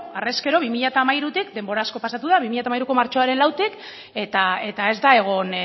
harrezkero bi mila hamairutik denbora asko pasatu da bi mila hamairuko martxoaren lautik eta ez da egon